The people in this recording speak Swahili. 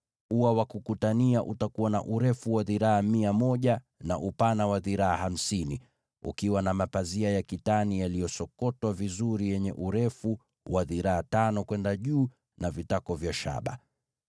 Ua wa kukutania utakuwa na urefu wa dhiraa mia moja na upana wa dhiraa hamsini, ukiwa na mapazia ya kitani yaliyosokotwa vizuri yenye urefu wa dhiraa tano kwenda juu na vitako vya shaba.